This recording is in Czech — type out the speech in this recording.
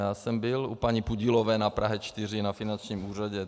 Já jsem byl u paní Pudilové na Praze 4, na finančním úřadě.